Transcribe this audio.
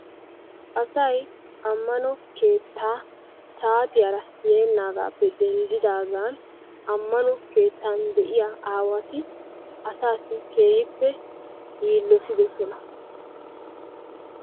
Asay ammano keettaa saatiyara beennaagaappe denddidaagan ammano keettan de'iya aawati asaassi keehippe yiillotidosona.